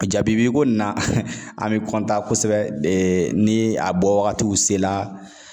A jabibiko in na an bɛ kosɛbɛ ni a bɔwagatiw sela